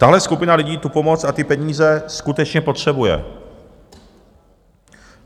Tahle skupina lidí tu pomoc a ty peníze skutečně potřebuje.